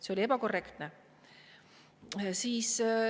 See oli ebakorrektne.